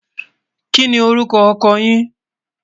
kí ní orúkọ ọkọ yín?